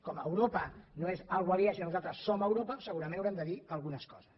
com que eu ropa no és una cosa aliena sinó que nosaltres som europa segurament haurem de dir algunes coses